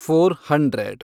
four hundred